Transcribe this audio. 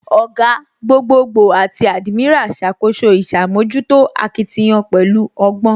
Ògá, gbogboogbo àti admiral ṣàkóso ìṣàmójútó akitiyan pẹ̀lú ọgbọ́